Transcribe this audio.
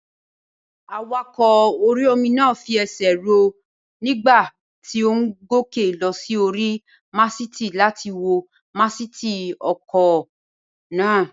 Awakọ̀ orí-omi náà fi ẹsẹ̀ rọ́ nígbà tí ó n gòkè lọ sí orí màsìtì láti wo másìtì ọkọ̀ náà